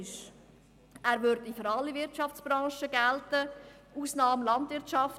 Er würde für alle Wirtschaftsbranchen gelten, mit Ausnahme der Landwirtschaft.